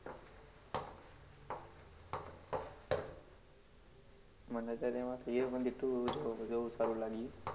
મને સાયબ એમાં હીરોપનતી two જોવામાં બૌ સારું લાગ્યું.